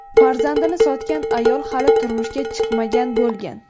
Farzandini sotgan ayol hali turmushga chiqmagan bo‘lgan.